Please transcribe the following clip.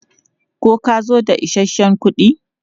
Ko ka zo da isasshen kuɗi?